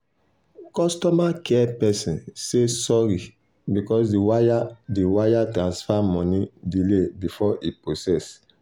customer care person say sorry because the wire the wire transfer money delay before e process.